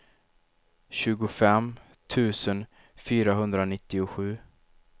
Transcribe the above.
tjugofem tusen fyrahundranittiosju